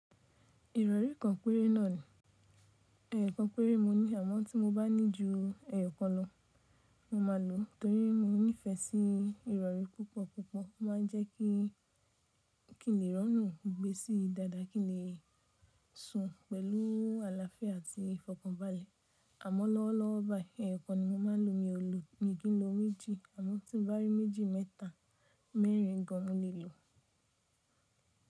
Ìrọ̀rí kan péré náà ni, ẹyọ kan péré mo ní àmọ́ tí mo bá ní ju ẹyọ̀ kan lọ, mo máa lò ó torí mo nífẹ̀ẹ́ sí ìrọ̀rí púpọ̀púpọ̀. Ó ma ń jẹ́ kí, kí le rọrùn gbé e sí i dáadáa, kí lè sùn pẹ̀lú àlàáfíà àti ìfọ̀kànbalẹ̀. Àmọ́ lọ́wọ́lọ́wọ́ báyìí ẹyọ̀ kan ni mo máa ń lò mi ò ló ni kí n lo méjì àmọ́ tí n bá rí méjì mẹ́ta mẹ́rin gan mo lè lò ó.